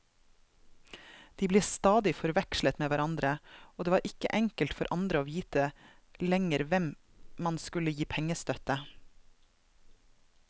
De ble stadig forvekslet med hverandre, og det var ikke enkelt for andre å vite lenger hvem man skulle gi pengestøtte.